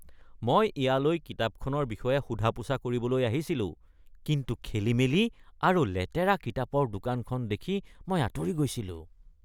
মই ইয়ালৈ কিতাপখনৰ বিষয়ে সোধা-পোছা কৰিবলৈ আহিছিলো কিন্তু খেলিমেলি আৰু লেতেৰা কিতাপৰ দোকানখন দেখি মই আঁতৰি গৈছিলো।